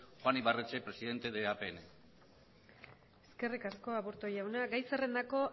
juan ibarretxe presidente de apn eskerrik asko aburto jauna gai zerrendako